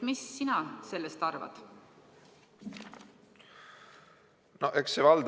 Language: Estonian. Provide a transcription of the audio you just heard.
Mida sina sellest arvad?